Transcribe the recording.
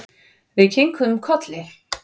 Við kinkuðum kolli.